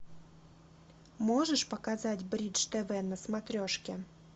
можешь показать бридж тв на смотрешке